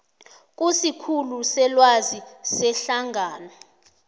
kusikhulu selwazi sehlangano